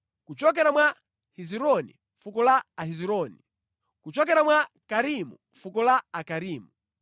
kuchokera mwa Hezironi, fuko la Ahezironi; kuchokera mwa Karimi, fuko la Akarimi.